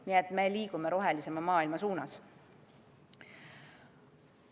Nii et me liigume rohelisema maailma suunas.